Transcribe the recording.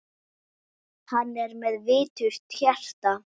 Hann er með viturt hjarta.